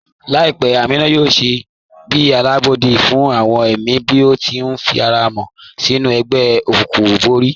Laipẹ́ Ámínà yóò ṣiṣẹ̀ bí alábọdẹ̀ fún awọn ẹ̀mí bí ó tì ní ifàràmọ̀ sinú ègbè-òkùnkùn bọ̀rí.